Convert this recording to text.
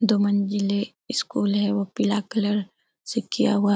दो मंजिले स्कूल है वो पीला कलर से किया हुआ है ।